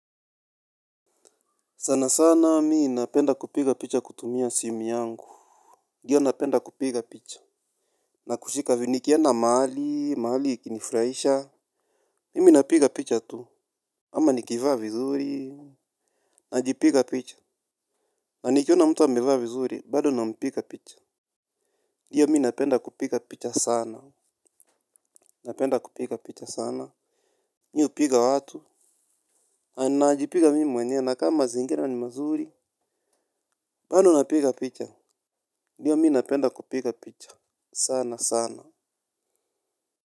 Sanasana mimi napenda kupiga picha kutumia simu yangu. Ndiyo ninapenda kupiga picha na kushika hivi nikienda mahali mahali ikinifurahisha. Mimi napiga picha tu. Ama nikivaa vizuri najipiga picha. Na nikiona mtu ameva vizuri, bado nampiga picha. Ndiyo mimi napenda kupiga picha sana. Napenda kupiga picha sana. Mimi hupiga watu na ninajipiga mimi mwenyewe na kama mazingira ni mazuri bado napiga picha ndiyo mimi napenda kupiga picha sana sana.